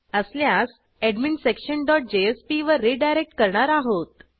असल्यास adminsectionजेएसपी वर रिडायरेक्ट करणार आहोत